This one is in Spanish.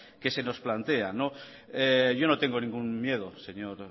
que se nos plantean yo no tengo ningún miedo señor